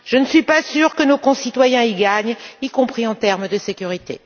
Je ne suis pas sûre que nos concitoyens soient gagnants, y compris en termes de sécurité.